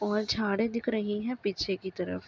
और झाड़े दिख रही हैं पीछे की तरफ।